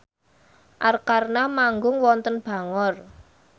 Arkarna manggung wonten Bangor